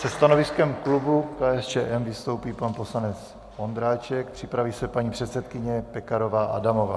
Se stanoviskem klubu KSČM vystoupí pan poslanec Ondráček, připraví se paní předsedkyně Pekarová Adamová.